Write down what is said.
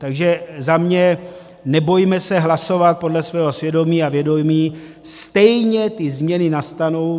Takže za mě, nebojme se hlasovat podle svého svědomí a vědomí, stejně ty změny nastanou.